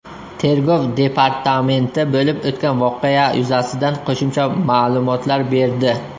Tergov departamenti bo‘lib o‘tgan voqea yuzasidan qo‘shimcha ma’lumotlar berdi .